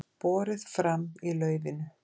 Borið fram í laufinu